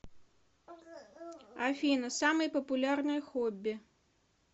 афина самые популярные хобби